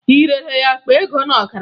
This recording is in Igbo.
Ị rere ya akpa ego na ọkara?